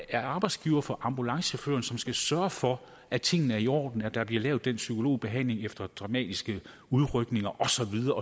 er arbejdsgiver for ambulancechaufføren som skal sørge for at tingene er i orden at der bliver lavet den psykologbehandling efter dramatiske udrykninger og så videre